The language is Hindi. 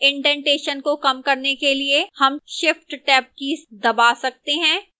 indentation को कम करने के लिए हम shift + tab कीज़ दबा सकते हैं